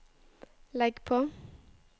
legg på